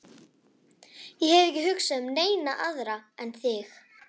Ég hef ekki hugsað um neina aðra en þig.